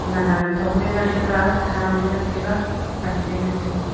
ma gagan wanthong ngantaga tham je ngantaga pan che ngantaga.